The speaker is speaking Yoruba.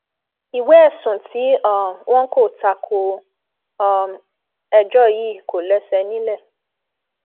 ìwé ẹsùn tí um wọn kò ta ko um ẹjọ yìí kò lẹsẹ nílẹ